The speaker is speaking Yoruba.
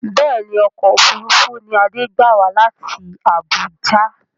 Bẹ́ẹ̀ni ọkọ̀ òfuurufú ni Adé gbé wá láti Abuja